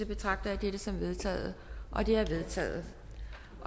betragter jeg dette som vedtaget det er vedtaget